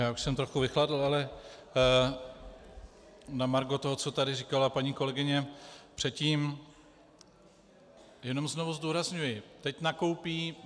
Já už jsem trochu vychladl, ale na margo toho, co tady říkala paní kolegyně předtím - jenom znovu zdůrazňuji, teď nakoupí